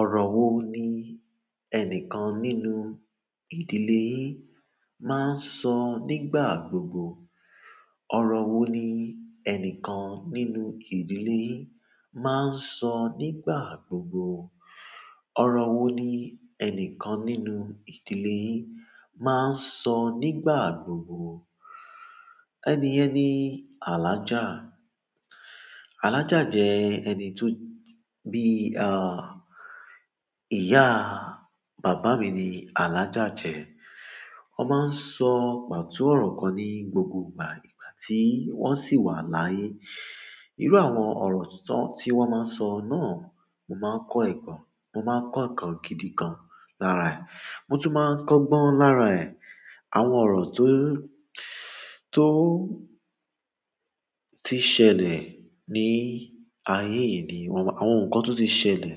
Ọ̀rọ̀ wo ni ẹnìkan nínú ìdílé máa ń sọ nígbà gbogbo? Ọ̀rọ̀ wo ni ẹnìkan nínú ìdílé máa ń sọ nígbà gbogbo? Ọ̀rọ̀ wo ni ẹnìkan nínú ìdílé máa ń sọ nígbà gbogbo? Ẹni yen ni Alhajà. Alhaja je ẹni to bi a iya baba mi ni Alhaja je. Wọ́n máa ń sọ pàtú ọ̀rọ̀ kan ní gbogbo ìgbà ìgbà tí wọ́n sì wà láyé. Irú àwọn ọ̀rọ̀ tó tí wọ́n máa ń sọ náà, mo máa ń kọ́ ẹ̀ kan, mo máa ń kọ́ nkan gidi gan lára ẹ̀. Mo tún máa ń kọ́ gbọ́n lára ẹ̀. Àwọn ọ̀rọ̀ tó, tó ti ṣẹlẹ̀ ní ayé yìí ni wọ́n, àwọn nǹkan tó ti ṣẹlẹ̀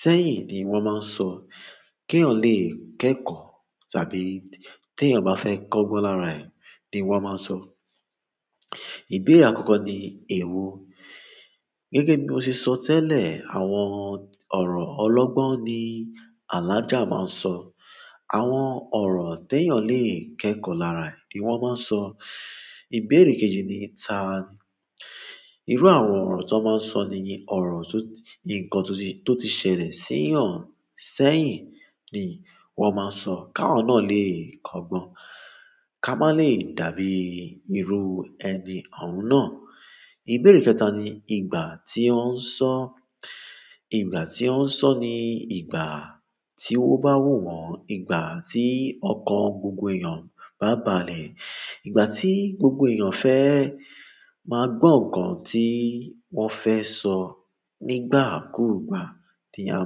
sẹ́yìn ni wọ́n máa ń sọ. Kí eeyan lè kẹ́kọ̀ọ́ tàbí tí ènìyàn bá fẹ́ kọ́ gbọ́n lára ẹ̀ ni wọ́n máa ń sọ. Ìbéèrè àkọ́kọ́ ni èwo. Gẹ́gẹ́ bí mo ṣe sọ tẹ́lẹ̀, àwọn ọ̀rọ̀ ọlọ́gbọ́n ni Alájà máa ń sọ. Àwọn ọ̀rọ̀ tí ènìyàn lè kẹ́kọ̀ọ́ lára ẹ̀ ni wọ́n máa ń sọ. Ìbéèrè kejì ni ìta. Irú àwọn ọ̀rọ̀ tó máa ń sọ nìyen ọ̀rọ̀ tó, ǹkan tó ti, tó ti ṣẹlẹ̀ sí ọ̀n sẹ́yìn ni wọ́n máa ń sọ, ká awa náà lè kọ́ gbọ́n, ká má lè dàbí irú ẹni ohun náà. Ìbéèrè kẹta ni ìgbà tí ó ń sọ. Ìgbà tí ó ń sọ ni ìgbà tí ó bá wù wọ́n, ìgbà tí ọkàn gbogbo èèyàn bá balẹ̀, ìgbà tí gbogbo èèyàn fẹ́ máa gbọ̀n ǹkan tí wọ́n fẹ́ sọ nígbà kúùgbà tí a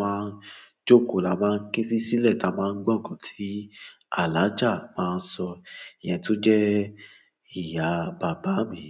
máa ń jókòó, la máa ń ké sílẹ̀, la máa ń gbọ̀n ǹkan tí Alájà máa ń sọ, iyẹn tún jẹ́ ìyá bàbá mi.